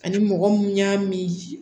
Ani mɔgɔ mun y'a min